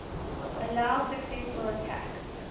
allow successful attacks